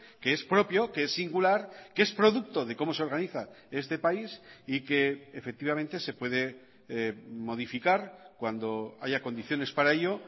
que es propio que es singular que es producto de cómo se organiza este país y que efectivamente se puede modificar cuando haya condiciones para ello